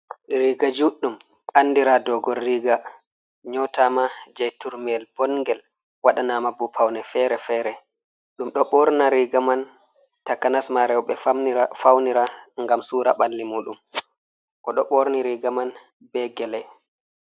Riga juɗdum andira dogon riga nyotama jei turmi yel bongel waɗa na ma bo paune fere-fere ɗum ɗo ɓorna riga man takanas ma rewbe faunira ngam sura balli mu ɗum oɗo ɓorni riga man be gele.